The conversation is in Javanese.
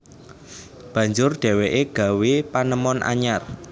Banjur dheweke gawé panemon anyar